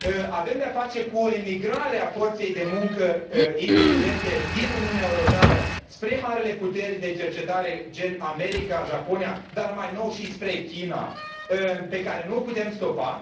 Avem de a face cu o emigrare a forței de muncă inteligente din Uniunea Europeană spre marile puteri de cercetare gen America, Japonia, dar mai nou și spre China, pe care nu o putem stopa.